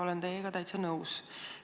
Olen teiega täitsa nõus.